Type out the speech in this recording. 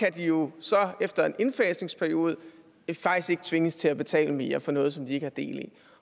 at de jo efter en indfasningsperiode faktisk tvinges til at betale mere altså for noget som de ikke har del i